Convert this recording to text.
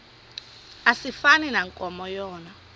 asifani nankomo yona